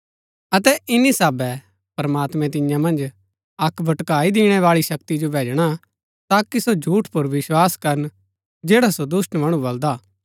अतै इन्‍नी साहबै प्रमात्मैं तियां मन्ज अक्क भटकाई दीणैं बाळी शक्ति जो भैजणा ताकि सो झूठ पुर विस्वास करन जैड़ा सो दुष्‍ट मणु बलदा हा